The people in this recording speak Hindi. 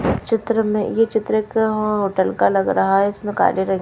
चित्र में ये चित्र एक होटल का लग रहा है जिसमें काले रंग--